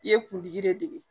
I ye kuntigi de dege